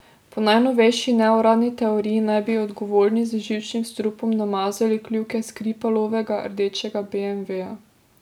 Po najnovejši neuradni teoriji naj bi odgovorni z živčnim strupom namazali kljuke Skripalovega rdečega beemveja.